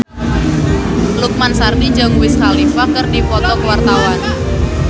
Lukman Sardi jeung Wiz Khalifa keur dipoto ku wartawan